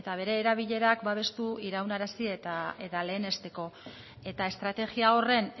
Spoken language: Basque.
bere erabilerak babestu iraunarazi eta lehenesteko eta estrategia horren